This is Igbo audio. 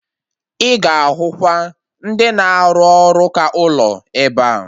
Ị ga-ahụ kwa ndị na-arụ ọrụ ụka ụlọ ebea